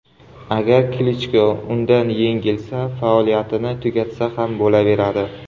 Agar Klichko undan yengilsa, faoliyatini tugatsa ham bo‘laveradi.